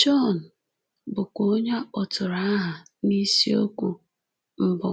John, bụ́kwa onye a kpọtụrụ aha n’isiokwu mbụ,